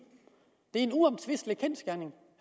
det er en uomtvistelig kendsgerning